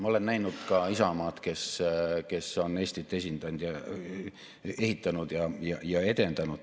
Ma olen näinud ka Isamaad, kes on Eestit ehitanud ja edendanud.